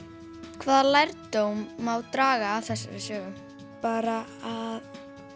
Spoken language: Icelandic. hvaða lærdóm má draga af þessari sögu bara að